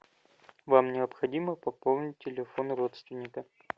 вам необходимо пополнить телефон родственника